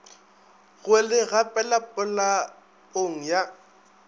go le gapela polaong ya